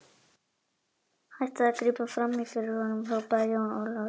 Hættið að grípa framí fyrir honum, hrópaði Jón Ólafur.